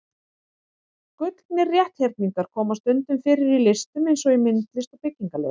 Gullnir rétthyrningar koma stundum fyrir í listum eins og í myndlist og byggingarlist.